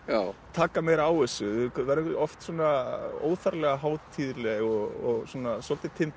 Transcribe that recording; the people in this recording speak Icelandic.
taka meira á þessu verðum oft svona óþarflega hátíðleg og svona svolítið